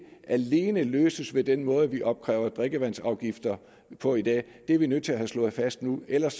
alene skal løses ved den måde vi opkræver drikkevandsafgifter på i dag det er vi nødt til at have slået fast nu ellers